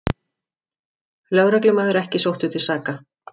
Lögreglumaður ekki sóttur til saka